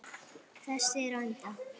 Þessi er á enda.